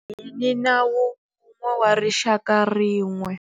Hi ni nawu wun'we wa rixaka rin'we.